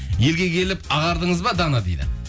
елге келіп ағардыңыз ба дана дейді